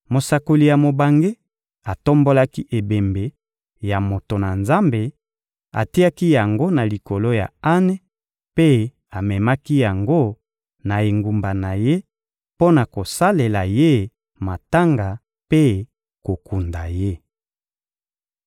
Mosakoli ya mobange atombolaki ebembe ya moto na Nzambe, atiaki yango na likolo ya ane mpe amemaki yango na engumba na ye mpo na kosalela ye matanga mpe kokunda ye.